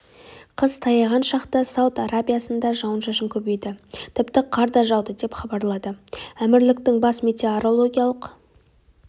қыс таяған шақта сауд арабиясында жауын-шашын көбейді тіпті қар да жауды деп хабарлады әмірліктің бас метеорологиялық